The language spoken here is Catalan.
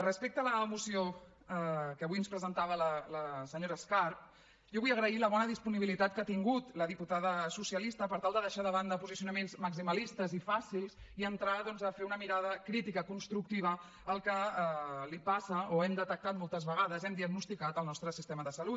respecte a la moció que avui ens presentava la senyora escarp jo vull agrair la bona disponibilitat que ha tingut la diputada socialista per tal de deixar de banda posicionaments maximalistes i fàcils i entrar doncs a fer una mirada crítica constructiva al que passa o hem detectat moltes vegades hem diagnosticat al nostre sistema de salut